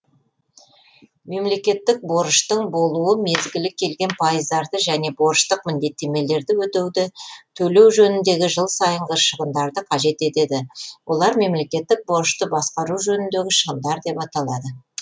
мемлекеттік борыштың болуы мезгілі келген пайыздарды және борыштық міндеттемелерді өтеуді төлеу жөніндегі жыл сайынғы шығындарды қажет етеді олар мемлекеттік борышты басқару жөніндегі шығындар деп аталады